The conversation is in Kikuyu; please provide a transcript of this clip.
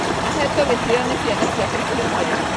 Ahetwo gĩtĩo nĩ ciana ciake ciothe